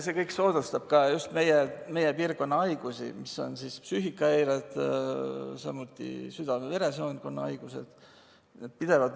See kõik soodustab ka just meie piirkonna haigusi, mis on psüühikahäired, samuti südame-veresoonkonnahaigused.